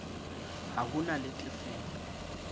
ha ho na le tefelo